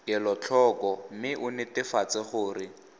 kelotlhoko mme o netefatse gore